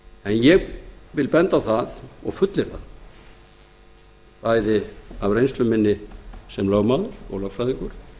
ég vil benda á það og fullyrða bæði af reynslu minni sem lögmaður og lögfræðingur